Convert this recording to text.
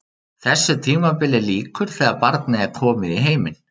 Þessu tímabili lýkur þegar barnið er komið í heiminn.